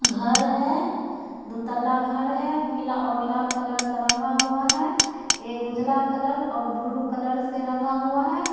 घर है दो तल्ला घर है पीला और लाल कलर के रंगा हुआ है एक उजला कलर और ब्लू कलर से रंगा हुआ है।